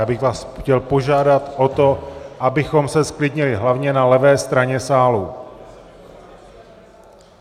Já bych vás chtěl požádat o to, abychom se zklidnili hlavně na levé straně sálu.